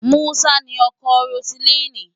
Musa ni ọkọ Roseline.